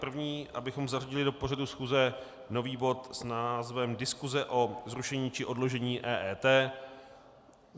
První, abychom zařadili do pořadu schůze nový bod s názvem Diskuse o zrušení či odložení EET.